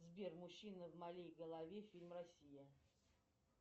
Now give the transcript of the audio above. сбер мужчина в моей голове фильм россия